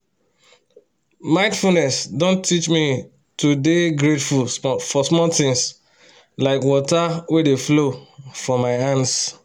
mindfulness don teach me to dey grateful for small things like water wey dey flow for my hands